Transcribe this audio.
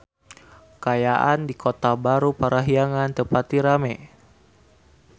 Kaayaan di Kota Baru Parahyangan teu pati rame